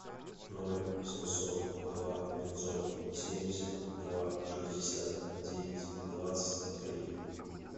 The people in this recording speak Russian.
ноль семьсот два пятьсот семьдесят два шестьдесят девять двадцать три